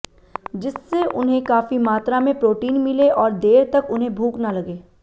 जिससे उन्हें काफी मात्रा में प्रोटीन मिले और देर तक उन्हें भूख न लगे